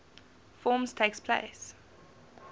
forms takes place